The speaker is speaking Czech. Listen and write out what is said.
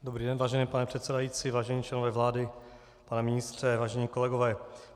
Dobrý den, vážený pane předsedající, vážení členové vlády, pane ministře, vážení kolegové.